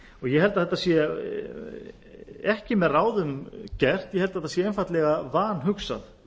ég held að þetta sé ekki með ráðum gert ég held að þetta sé einfaldlega vanhugsað